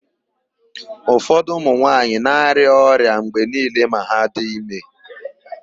Ufọdụ ụmụnwaanyị na-arịa ọrịa mgbe niile ma ha dị ime.